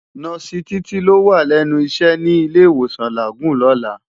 Nòsi Titi ló wá lènú iṣè ni Ilé Iwósán Lágúùn lòlá